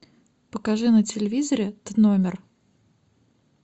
покажи на телевизоре т номер